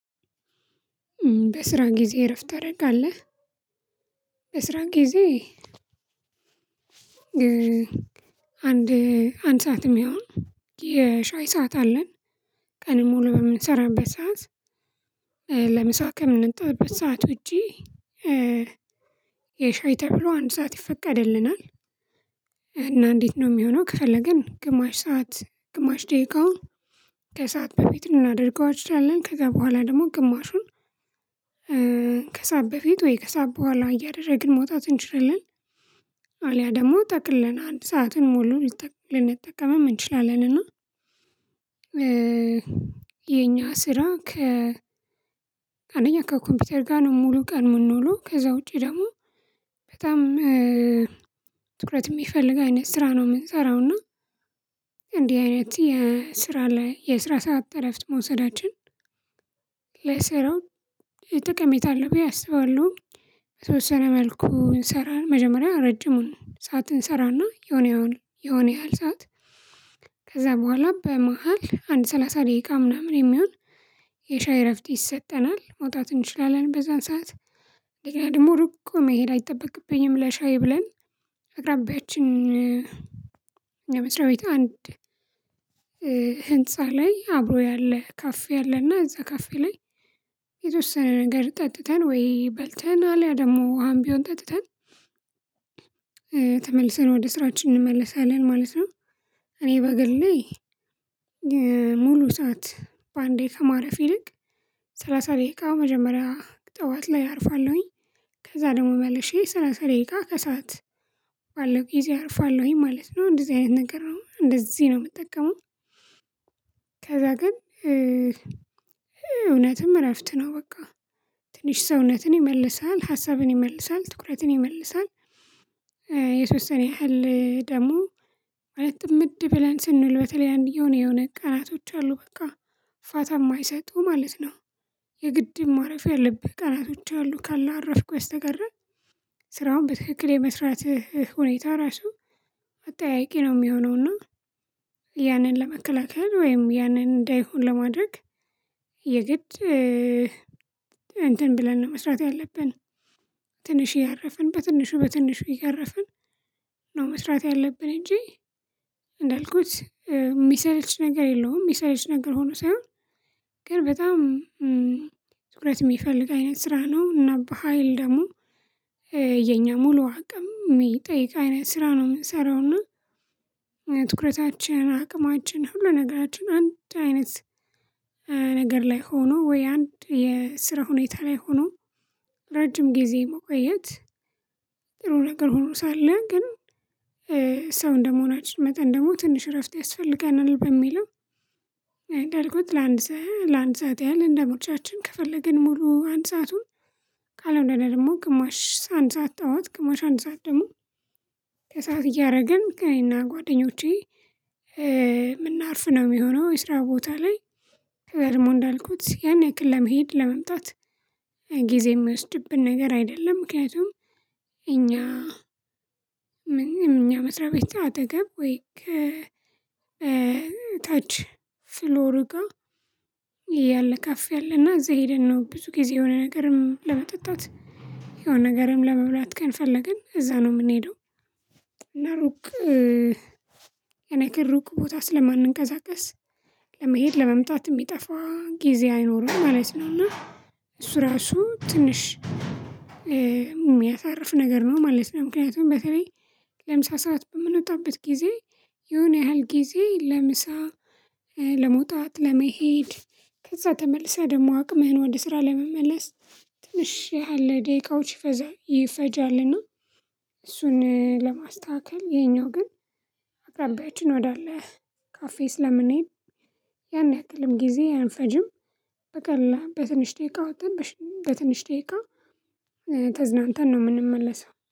በስራ ጊዜ እረፍት ታደርጋለህ? በስራ ጊዜ አንድ አንድ ሰዓትም ይሆን የሻይ ሰዓት አለን። ቀን ሙሉ በምንሰራበት ሰዓት ለምሳ ከምንጠቀምበት ሰዓት ውጪ የሻይ ተብሎ አንድ ሰዓት ይፈቀድልናል። እና እንዴት ነው የሚሆነው? ከፈለግን ግማሽ ሰዓት ግማሽ ደቂቃውን ከሰአት በፊት ልናደርገው ከዛ በኋላ ደግሞ ግማሹን ከስዓት በፊት ወይ ከስዓት በኋላ እያደረግን መውጣት እንችላለን። አልያ ደግሞ ጠቅልለን አንድ ሰዓትን ሞሉ ልንጠቀመው እንችላለን። እና ስራ ከ አንደኛ ከኮምፒውተር ጋር ነው ምንውለው ከዛ ውጪ ደግሞ በጣም ትኩረት የሚፈልግ አይነት ስራ ነው የምንሰራው። እና አይነት የስራ ላይ የስራ ሰዓት እረፍት መውሰዳችን ለስራው ጠቀሜታ አለው ብዬ አስባለሁ። የተወሰነ መልኩ እንሰራለን መጀመሪያ ረጅሙን ሰዓት ስራና የሆነ ያህል የሆነ ያህል ሰዓት ከዛ በኋላ በመሃል አንድ ሰላሳ ደቂቃ ምናምን የሚሆን የሻይ እረፍት ይሰጠናል መውጣት እንችላለን በዛን ሰዓት ደግሞ ሩቅ እኮ መሄድ አይጠበቅብኝም። ለሻይ ብለን አቅራቢያችን ለመስሪያቤት ቤት አንድ ህንፃ ላይ አብሮ ያለ ካፌ ያለና እዛ ካፌ ላይ የተወሰነ ነገር ጠጥተን ወይ በልተን አለ ያ ደግሞ ውሃም ቢሆን ጠጥተን ተመልሰን ወደ ስራችን እንመለሳለን ማለት ነው። እኔ በግል ላይ ሙሉ ሰዓት በአንዴ ከማረፍ ይልቅ ሰላሳ ደቂቃ መጀመሪያ ጠዋት ላይ አርፋለሁኝ ከዛ ደግሞ በለሽ ስራ ሰራይ ደቂቃ ከሰአት አለው ጊዜ አርፋለሁኝ ማለት ነው እንደዚህ አይነት ነገር እንደዚህ ነው የምጠቀመው። ከዛ ግን እውነትም እረፍት ነው በቃ ትንሽ ሰውነትን ይመልሳል ሀሳብን ይመልሳል ትኩረትን ይመልሳል። የተወሰነ ሰኔ ያህል ደግሞ ማለት ጥምድ ብለን ስንል በተለይ አንድ የሆነ የሆነ ቀናቶች አሉ በቃ ፋታ የማይሰጡ ማለት ነው። የግድ ማረፊያ ያለብህ ቀናቶች ያሉ ካላረፍኩ በስተቀረ ስራውን በትክክል የመስራትህ ሁኔታ ራሱ አጠያያቂ ነው የሚሆነው። እና ለመከላከል ወይም ያንን እንዳይሆን ለማድረግ የግድ እንትን ብለን ነው መስራት ያለብን። ትንሽ ያረፍን በትንሹ በትንሹ እያረፍን ነው መስራት ያለብን። እንጂ እንዳልኩት የሚሰልች ነገር የለውም የሚሰልች ነገር ሆኖ ሳይሆን ግን በጣም ትኩረት የሚፈልግ አይነት ስራ ነው። እና በሃይል ደግሞ የኛ ሙሉ አቅም የሚጠይቅ አይነት ስራ ነው የምንሰራውና። ትኩረታችን አቅማችን ሁሉ ነገራችን አንድ አይነት ነገር ላይ ሆኖ ወይ አንድ የስራ ሁኔታ ላይ ሆኖ ረጅም ጊዜ መቆየት ጥሩ ነገር ሆኖ ሳለ ግን ሰው እንደመሆናችሁ መጠን ደግሞ ትንሽ እረፍት ያስፈልገናል። በሚለው አልኩት ለአንድ ሰዓት ያህል እንደሞቻችን ከፈለግን ሙሉ አንድ ሰአቱን ካልሆነ ደግሞ ቅማሽ አንድ ሰዓት ጠዋት ግማሽ አንድ ሰዓት ደግሞ ከሰአት እያደረገን እኔ እና ጓደኞቼ አርፍ ነው የሚሆነው። የስራ ቦታ ላይ ደግሞ እንዳልኩት ያን ያክል ለመሄድ ለመምጣት ጊዜ የሚወስድብን ነገር አይደለም ምክንያቱም። እኛ ምንም እኛ መስሪያ ቤት አጠገብ ወይ ከ ታች ፍሎር ጋር ያለ ካፌ አለና እዛ ሄደን ነው ብዙ ጊዜ የሆነ ነገርም ለመጠጣት የሆነ ነገርም ለመብላት ከፈለግን እዛ ነው የምንሄደው። እና ሩቅ እኔ እኔ ሩቅ ቦታ ስለማንንቀሳቀስ ለመሄድ ለመምጣት የሚጠፋ ጊዜ አይኖረኝም ማለት ነው። እና እሱ ራሱ ትንሽ የሚያሳርፍ ነገር ነው ማለት ነው። ምክንያቱም በተለይ ለምሳ ሰዓት በምንወጣበት ጊዜ የሆነ ያህል ጊዜ ለምሳ ለመውጣት ለመሄድ ከዛ ተመልሳ ደግሞ አቅምህን ወደ ስራ ለመመለስ ትንሽህ ያህል ደቂቃዎች ይፈጃል ይፈጃልና። እሱን ለማስተካከል ይሄኛው ግን አቅራቢያችን ወዳለ ካፌ ስለምንሄድ ያን ያክል ጊዜ አይፈጅም። በቀላሉ በትንሽ ደቂቃ ወጥተን በትንሽ ደቂቃ ተዝናንተን ነው የምንመለሰው